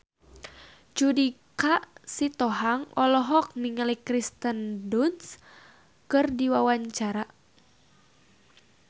Judika Sitohang olohok ningali Kirsten Dunst keur diwawancara